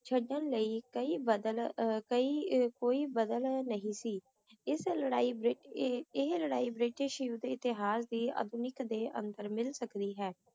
ਛੱਡਣ ਲਈ ਕਈ ਬਦਲ ਅਹ ਕਈ ਅਹ ਕੋਈ ਬਦਲ ਨਹੀਂ ਸੀ, ਇਸ ਲੜਾਈ ਬ੍ਰਿਟਿ~ ਇਹ ਇਹ ਲੜਾਈ ਬ੍ਰਿਟਿਸ਼ ਯੁੱਧ ਇਤਿਹਾਸ ਦੇ ਆਧੁਨਿਕ ਦੇ ਅੰਦਰ ਮਿਲ ਸਕਦੀ ਹੈ।